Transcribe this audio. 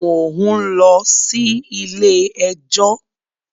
Mò ń sí Ilé ẹjọ́.